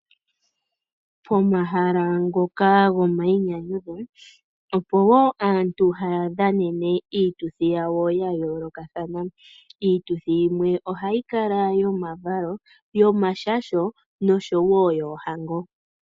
Pomahala ngoka gomayinyanyudho, opo wo aantu haya dhanene iituthi yawo ya yoolokathana. Iituthi yimwe ohayi kala yomavalo, yomashasho noshowo yoohango.